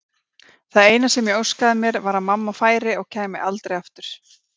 Það eina sem ég óskaði mér var að mamma færi og kæmi aldrei aftur.